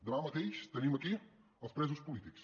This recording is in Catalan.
demà mateix tenim aquí els presos polítics